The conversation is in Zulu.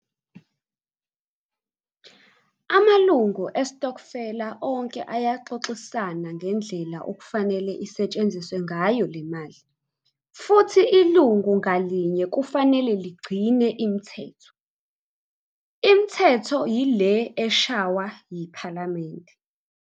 Amalungu esitokofela onke ayaxoxisana ngendlela okufanele isetshenziswe ngayo le mali futhi ilungu ngalinye kufanele ligcine imithetho, imithetho yile eshaywa yiphalamende.